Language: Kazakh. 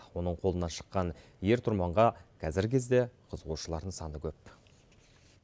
оның қолынан шыққан ер тұрманға қазіргі кезде қызығушылардың саны көп